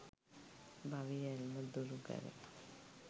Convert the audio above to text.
භවයේ ඇල්ම දුරුකර